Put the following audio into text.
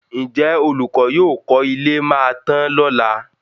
Ǹjẹ́ olùkọ́ yóò kọ́ ilé máa tán lọ́lá?